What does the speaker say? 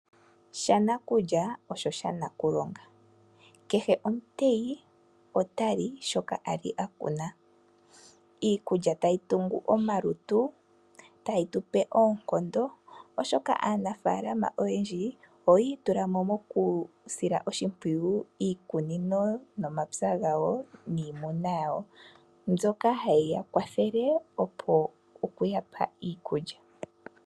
Shanakulya osho sha nakulonga. Kehe omuteyi shoka ali akuna iikulya tayi tungu tungu omalutu, tayi tupe oonkondo oshoka aanafaalama oyendji oyi itulamo moku sila oshimpwiyu iikunino nomapya gawo mbyoka hayiya kwathele okuyapa iikulya.